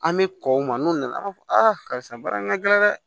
An bɛ kɔ u ma n'u nana an b'a fɔ a karisa baara in ka gɛlɛn dɛ